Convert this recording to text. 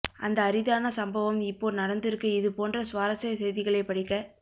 அந்த அரிதான சம்பவம் இப்போ நடந்துருக்கு இதுபோன்ற சுவாரஸ்ய செய்திகளை படிக்க